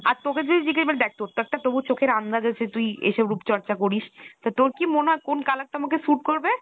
আর তোকে তো দেখ তোর তো একটা তবুও চোখের আন্দাজ আছে তুই এসব রূপচর্চা করিস তো তোর কি মনে হয় কোন color টা আমাকে suit করবে?